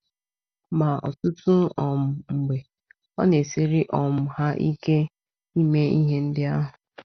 Ma ọtụtụ um mgbe, ọ na - esiri um ha ike ime ihe ndị ahụ.